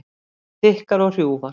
Þykkar og hrjúfar.